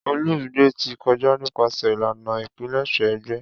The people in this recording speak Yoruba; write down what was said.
Olumide ti kọja nipasẹ ilana ipilẹṣẹ egbe.